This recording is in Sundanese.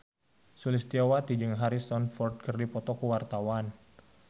Sulistyowati jeung Harrison Ford keur dipoto ku wartawan